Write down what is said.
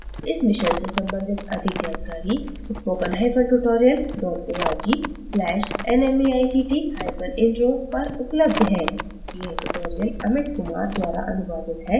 इस मिशन से संबंधित अधिक जानकारी